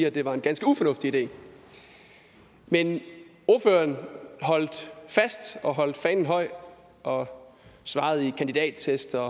at det var en ganske ufornuftig idé men ordføreren holdt fast og holdt fanen højt og svarede i kandidattest og